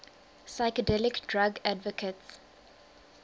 psychedelic drug advocates